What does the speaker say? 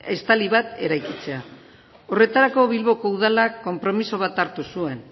estali bat eraikitzea horretarako bilboko udalak konpromiso bat hartu zuen